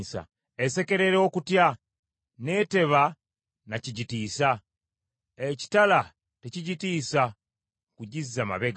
Esekerera okutya, n’eteba na kigitiisa. Ekitala tekigitiisa kugizza mabega.